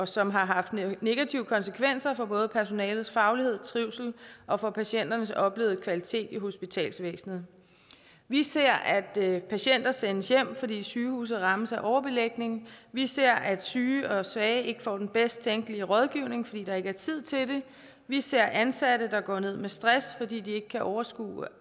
som har haft negative konsekvenser for både personalets faglighed og trivsel og for patienternes oplevede kvalitet i hospitalsvæsenet vi ser at patienter sendes hjem fordi sygehuset rammes af overbelægning vi ser at syge og svage ikke får den bedst tænkelige rådgivning fordi der ikke er tid til det vi ser ansatte der går ned med stress fordi de ikke kan overskue